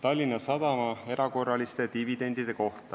Tallinna Sadama erakorraliste dividendide vastu.